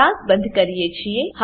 class બંધ કરીએ છીએ